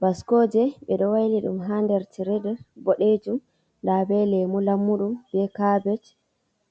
Bascoje ɓe ɗo waili ɗum ha nɗer tire ɓoɗejum, ɗa ɓe lemu lammuɗum ɓe cabej